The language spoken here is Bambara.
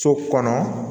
So kɔnɔ